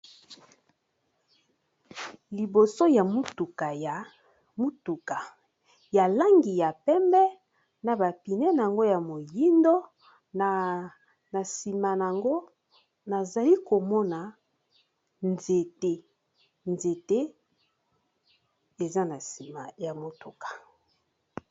Liboso ya motuka ya motuka ya langi ya pembe na ba pneus na yango ya moyindo na sima n'ango nazali komona nzete eza na sima ya motuka